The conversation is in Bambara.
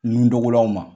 Nundugulaw ma